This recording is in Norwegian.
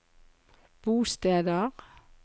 bosteder